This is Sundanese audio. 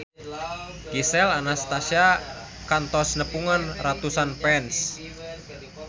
Gisel Anastasia kantos nepungan ratusan fans